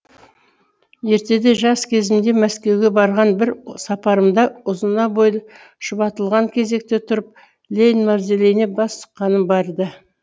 ертеде жас кезімде мәскеуге барған бір сапарымда ұзына бойы шұбатылған кезекте тұрып ленин мавзолейіне бас сұққаным бар ды